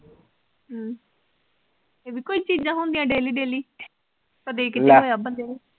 ਹਮ ਇਹ ਵੀ ਕੋਈ ਚੀਜਾਂ ਹੁੰਦਿਆਂ daily daily ਕਦੇ ਕਿਤੇ ਲੈ, ਹੋਇਆ ਬੰਦੇ ਨੂੰ